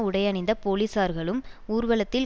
உடையணிந்த போலீசார்களும் ஊர்வலத்தில்